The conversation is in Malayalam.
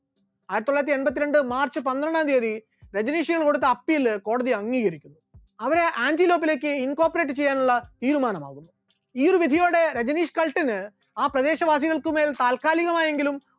ആയിരത്തിത്തൊള്ളായിരത്തി എൺപത്തിരണ്ട്‍ march പന്ത്രണ്ടാം തിയ്യതി രജനീഷുകൾ കൊടുത്ത appeal കോടതി അംഗീകരിച്ചു, അവരെ ആന്റിലോക്കിലേക്ക് incorporate ചെയ്യാനുള്ള തീരുമാനമായി, ഈ ഒരു വിധിയോടെ രജനീഷ് കൾട്ടിന് ആ പ്രദേശവാസികൾക്ക് മേൽ താൽക്കാലികമായെങ്കിലും